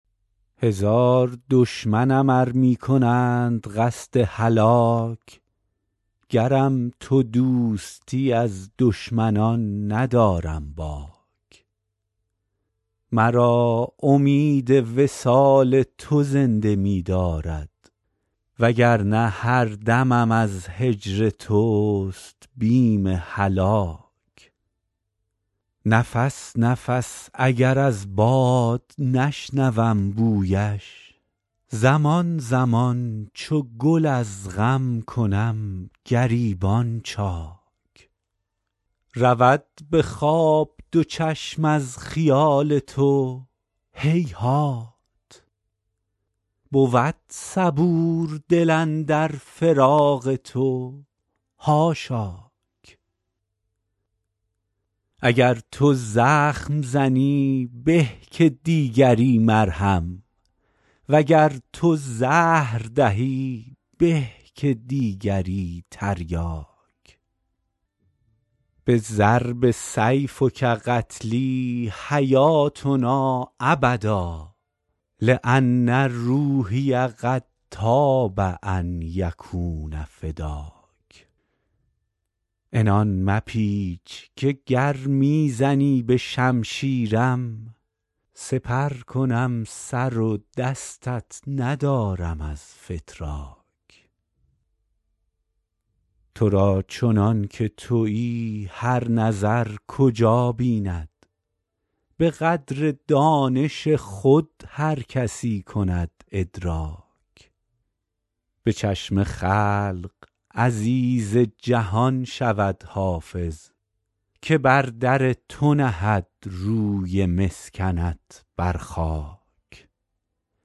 هزار دشمنم ار می کنند قصد هلاک گرم تو دوستی از دشمنان ندارم باک مرا امید وصال تو زنده می دارد و گر نه هر دمم از هجر توست بیم هلاک نفس نفس اگر از باد نشنوم بویش زمان زمان چو گل از غم کنم گریبان چاک رود به خواب دو چشم از خیال تو هیهات بود صبور دل اندر فراق تو حاشاک اگر تو زخم زنی به که دیگری مرهم و گر تو زهر دهی به که دیگری تریاک بضرب سیفک قتلی حیاتنا ابدا لأن روحی قد طاب ان یکون فداک عنان مپیچ که گر می زنی به شمشیرم سپر کنم سر و دستت ندارم از فتراک تو را چنان که تویی هر نظر کجا بیند به قدر دانش خود هر کسی کند ادراک به چشم خلق عزیز جهان شود حافظ که بر در تو نهد روی مسکنت بر خاک